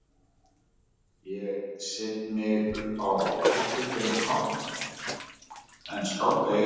Ég set mig upp á hefðbundinn hátt en skálda í eyðurnar.